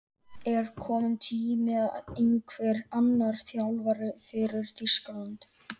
Er kominn tími á einhvern annan þjálfara fyrir Þýskaland?